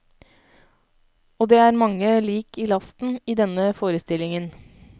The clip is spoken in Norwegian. Og det er mange lik i lasten i denne forestillingen.